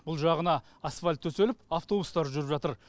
бұл жағына асфальт төселіп автобустар жүріп жатыр